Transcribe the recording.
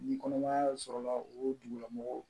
Ni kɔnɔmaya sɔrɔla o dugulamɔgɔw